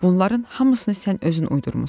Bunların hamısını sən özün uydurmisan."